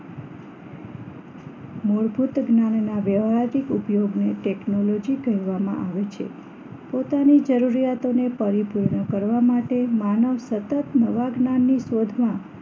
મૂળભૂત જ્ઞાનના વ્યવહારિક ઉપયોગને ટેકનોલોજી કહેવામાં આવે છે પોતાની જરૂરિયાતોને પરિપૂર્ણ કરવા માટે માનવ સતત નવા જ્ઞાનની શોધમાં